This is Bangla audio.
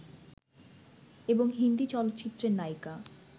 এবং হিন্দী চলচ্চিত্রের নায়িকা